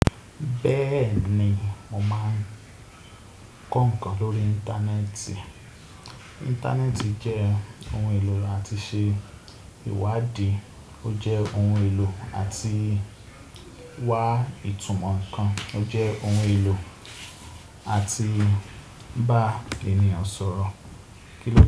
Bẹ́ẹ̀ni mo máa ń kọ ǹkan lórí Íńtánẹ́ẹ̀tì. Íńtánẹ́ẹ̀tì jẹ́ ohun èlò láti ṣe ìwádìí, ó jẹ́ ohun èlò láti wa ìtumọ̀ ǹkan, ó jẹ́ ohun èlò láti bá ènìyàn sọ̀rọ̀